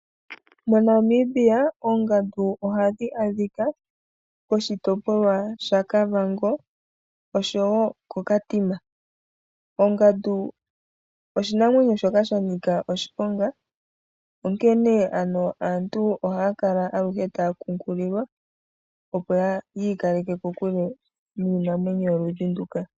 Mo Namibia , oongandu ohadhi adhika koshitopolwa shaKavango osho woo ko Katima. Ongandu oshimamwenyo shoka sha nika oshiponga . Onkene ano aantu ohaya kala aluhe taya nkunkililwa opo yi ikaleke kokule niinamwenyo yoludhi nduka .